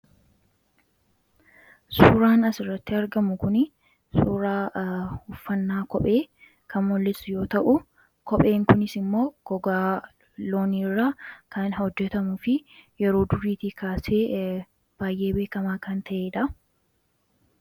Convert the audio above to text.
Suuraan as irratti argamu kuni suuraa uffannaa kophee kamolis yoo ta'u ,kopheen kunis immoo gogaa loonii irraa kan hojjetamu fi yeroo duriitii kaasee baay'ee beekamaa kan ta'eedha.